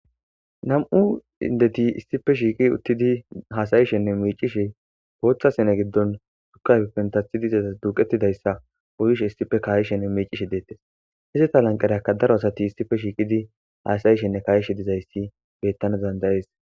Nam,u indeti issife shiiqi uttidi haasayishenne meecishe booththa sene giddon sukafippen tathi dizaza duuqettidayssa uyishe issife kaayishenne mecishe deettes hisseta lanqareakka daro asati issife shiiqidi haasayishenne kayishe dizayssi bettana dandayees